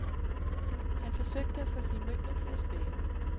Han forsøgte at få sine møbler til at svæve.